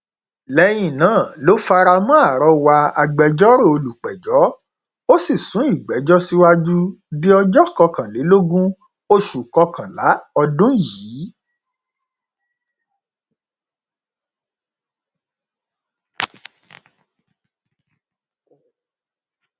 lẹyìn náà ló fara mọ àrọwà agbẹjọrò olùpẹjọ ó sì sún ìgbẹjọ síwájú di ọjọ kọkànlélógún oṣù kọkànlá ọdún yìí